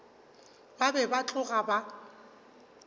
ba be ba tloga ba